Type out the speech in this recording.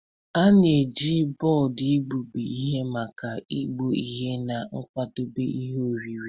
A na-eji bọọdụ igbubi ihe maka igbụ ihe na ịkwadebe ihe oriri.